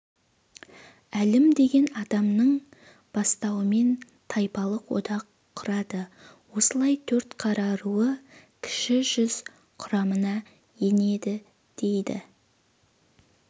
әлім деген адамның бастауымен тайпалық одақ құрады осылай төртқара руы кіші жүз құрамына енеді дейді